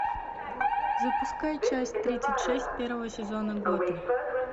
запускай часть тридцать шесть первого сезона готэм